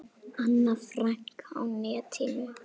Anna Frank á netinu.